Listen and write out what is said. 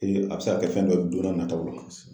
a bɛ se ka kɛ fɛn dɔ ye don n'a nataw la.